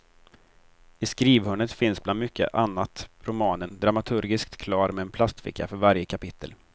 I skrivhörnet finns bland mycket annat romanen, dramaturgiskt klar med en plastficka för varje kapitel.